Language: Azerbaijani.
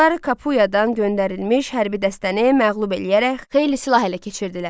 Onlar Kapuyadan göndərilmiş hərbi dəstəni məğlub eləyərək xeyli silah ələ keçirdilər.